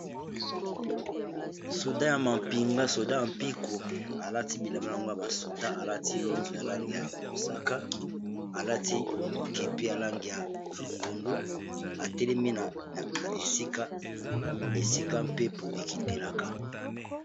Soda ya mampinga soda mpico alati bilemba na bango ya ba soda alati lonzo ya lange ya mosaka alati kepi ya lange ya longondo atelemi na esika esika mpepo ekitelaka.